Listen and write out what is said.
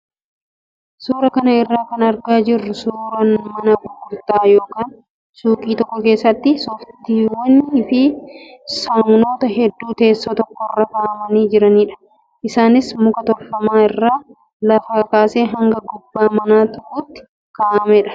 Suuraa kana irraa kan argaa jirru suuraa mana gurgurtaa yookaan suuqii tokko keessatti sooftiiwwanii fi saamunoota hedduu teessoo tokkorra kaa'amanii jiranidha. Isaanis muka tolfame irra lafaa kaasee haga gubbaa manaa tuquutti kaa'ameera.